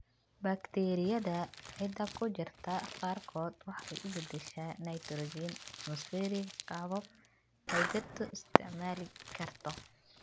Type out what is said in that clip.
Bakteeriyada ciidda ku jirta qaarkood waxay u beddeshaa nitrogen atmospheric qaabab ay dhirtu isticmaali karto.